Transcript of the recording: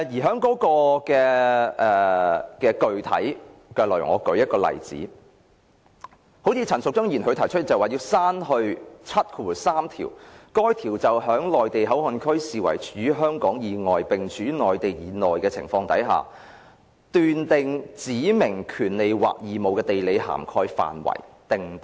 就具體的內容而言，我舉例，陳淑莊議員提出刪去第73條，該條為在內地口岸區視為處於香港以外並處於內地以內的情況，斷定權利或義務的地理涵蓋範圍。